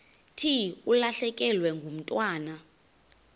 thi ulahlekelwe ngumntwana